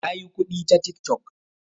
Ya yi kuɗi ta tik tok